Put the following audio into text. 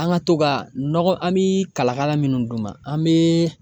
An ka to ka nɔgɔ an bɛ kalakala minnu d'u ma an bɛ.